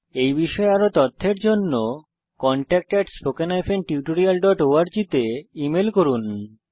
এই বিষয়ে বিস্তারিত তথ্যের জন্য কনট্যাক্ট spoken tutorialorg তে ইমেল করুন